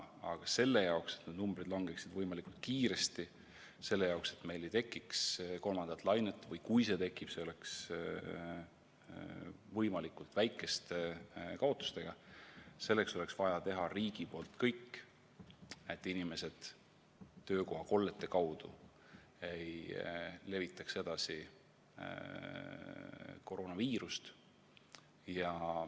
Aga selle jaoks, et need numbrid langeksid võimalikult kiiresti, selle jaoks, et meil ei tekiks kolmandat lainet või kui see tekib, siis oleks see võimalikult väikeste kaotustega, selleks oleks vaja teha riigil kõik, et inimesed töökohakollete kaudu ei levitaks koroonaviirust.